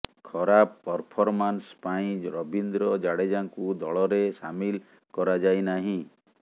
ଖରାପ ପରଫରମାନ୍ସ ପାଇଁ ରବୀନ୍ଦ୍ର ଜାଡେଜାଙ୍କୁ ଦଳରେ ସାମିଲ କରାଯାଇନାହିଁ